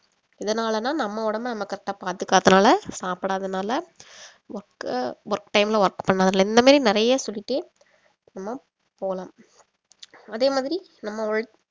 இதனால தான் நம்ம உடம்ப நம்ம correct ஆ பார்த்துகாதனால சாப்பிடாதனால work அ work time ல work பண்ணதுல இந்த மாரி நறைய சொல்லிடே நம்ம போலாம் அதே மாதிரி நம்ம